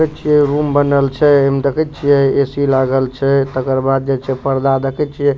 देखे छिये रूम बनल छै ए में देखे छिये ए.सी. लागल छै तकर बाद जे छै पर्दा देखे छिये।